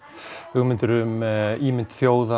hugmyndir um ímynd þjóðar